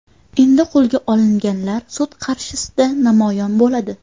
Endi qo‘lga olinganlar sud qarshisida namoyon bo‘ladi.